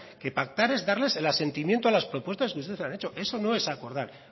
que pactar es darles el asentimiento a las propuestas que ustedes han hecho eso no es acordar